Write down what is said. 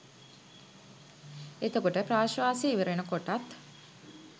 එතකොට ප්‍රශ්වාසය ඉවරවෙන කොටත්